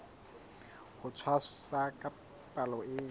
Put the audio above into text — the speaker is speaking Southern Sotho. ho tshwasa ka palo e